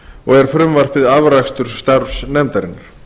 og er frumvarpið afrakstur starfs nefndarinnar